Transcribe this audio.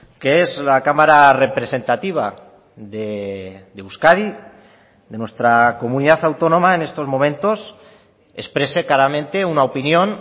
que es la cámara representativa de euskadi de nuestra comunidad autónoma en estos momentos exprese claramente una opinión